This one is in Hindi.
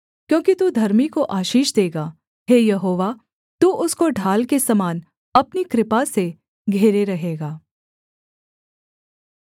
क्योंकि तू धर्मी को आशीष देगा हे यहोवा तू उसको ढाल के समान अपनी कृपा से घेरे रहेगा